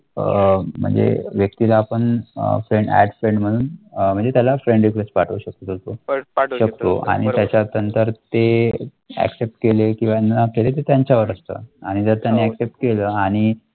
अह म्हणजे व्यक्‍तीला पण अह एड फ्रेंड मनहुन म्हणजे थायना फ्रेंड रिक्व्हेस्ट पाठवू शकतो. त्यानंतर ते अकसेफ्ट केले किव्वा ना केले ते त्यांच्यावर अस्तथ आणि त्यानं अकसेफ्ट केले आणि.